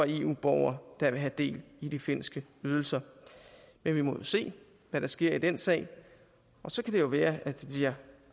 eu borgere der vil have del i de finske ydelser men vi må jo se hvad der sker i den sag så kan det jo være at det bliver